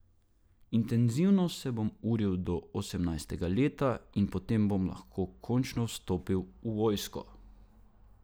Intenzivno se bom uril do osemnajstega leta in potem bom lahko končno vstopil v vojsko.